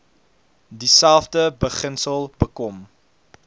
dieselfde beginsel bekom